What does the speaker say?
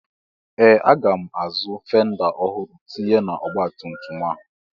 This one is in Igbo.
Ee! Aga m azụ fenda ọhụrụ tinye n'ọgbatumtum a.